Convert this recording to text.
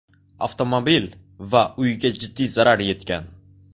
Avtomobil va uyga jiddiy zarar yetgan.